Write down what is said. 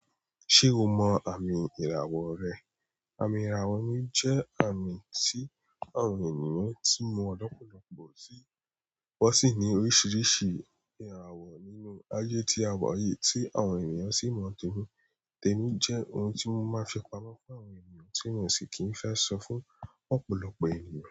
Ṣé o mọ àmì ìràwọ̀ rẹ? Àmì ìràwọ̀ mi jẹ́ àmì tí àwọn ènìyàn tí mọ́ ọ̀pọ̀lọpọ̀ sí wọ́n sì ní oríṣiríṣi ìràwọ̀ nínú ayé tí awa yìí tí àwọn ènìyàn sì mọ̀ tẹ́mi. Tẹ́mi jẹ́ ohun tí wọ́n máa ń fi pamọ́ fún àwọn ènìyàn tí wọ́n sì kì í fẹ́ sọ fún ọ̀pọ̀lọpọ̀ ènìyàn.